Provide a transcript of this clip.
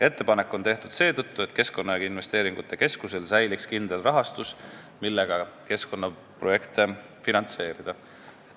Ettepanek on tehtud seetõttu, et Keskkonnainvesteeringute Keskusel säiliks kindel rahastus, millega keskkonnaprojekte finantseerida.